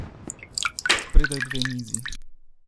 Spredaj dve mizi.